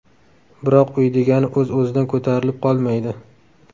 Biroq uy degani o‘z-o‘zidan ko‘tarilib qolmaydi.